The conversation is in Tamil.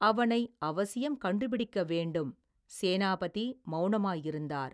அவனை அவசியம் கண்டுபிடிக்க வேண்டும் சேனாபதி மௌனமாயிருந்தார்.